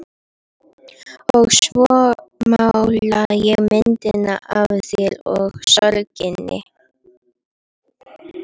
Og svo mála ég myndina af þér og sorginni.